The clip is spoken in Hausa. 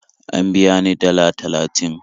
An biya ni dalla talatin